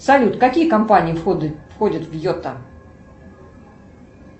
салют какие компании входят в йота